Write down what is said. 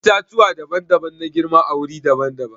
Itatuwa daban-daban na girma a wuri daban-daban.